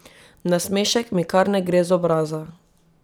Nasmešek mi kar ne gre z obraza.